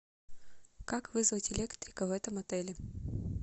как вызвать электрика в этом отеле